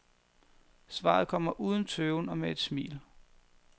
Svaret kommer uden tøven og med et smil.